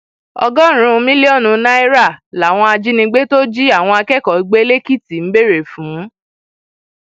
ọgọrùnún mílíọnù náírà làwọn ajìnigbe tó jí àwọn akẹkọọ gbé lẹkìtì ń béèrè fún